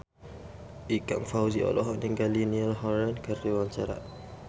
Ikang Fawzi olohok ningali Niall Horran keur diwawancara